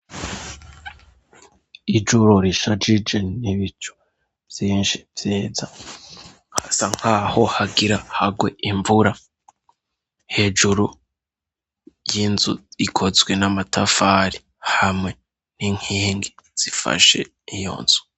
Ijuru rishajije n'ibicu vyinshi vyiza hasa nkaho hagira hagwe imvura hejuru y'inzu ikozwe n'amatafari hamwe n'inkingi zifashe iyonzu.